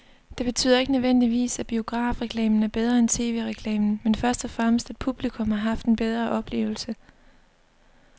Det betyder ikke nødvendigvis, at biografreklamen er bedre end tv-reklamen, men først og fremmest at publikum har haft en bedre oplevelse.